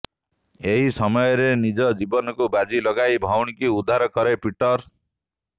ଏହି ସମୟରେ ନିଜ ଜୀବନକୁ ବାଜି ଲଗାଇ ଭଉଣୀଙ୍କୁ ଉଦ୍ଧାର କରେ ପିଟର